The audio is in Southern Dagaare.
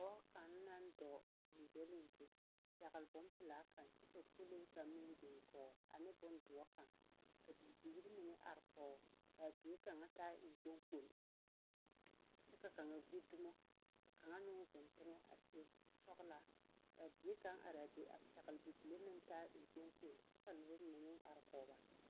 kaŋ naŋ dɔɔ gyoŋgyooligyo pɛgle bompelaa kaŋ kyɛ ka pɔlee kaŋ be o gɔɔ ane bondoɔr kaŋ. Ka bibiiri mine are kɔgoo kaa bie kaŋ taa eŋkpaŋkpol, kyɛ ka kaŋa gbi dumo ka kaŋa meŋ zeŋ teŋɛ a seɛ kur sɔɔlaa ka bie kaŋ araa be a pɛgle bibile naŋ taa eŋkpoŋkpoli, kyɛ ka noba mine meŋ ar kɔg ba.